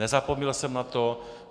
Nezapomněl jsem na to.